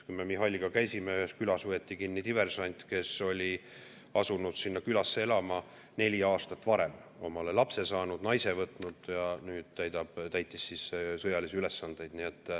Kui me Mihhailiga seal käisime, siis ühes külas võeti kinni diversant, kes oli asunud sinna külasse elama neli aastat varem, omale lapse saanud, naise võtnud ja nüüd täitis sõjalisi ülesandeid.